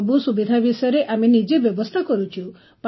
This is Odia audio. ସବୁ ସୁବିଧା ବିଷୟରେ ଆମେ ନିଜେ ବ୍ୟବସ୍ଥା କରୁଛୁ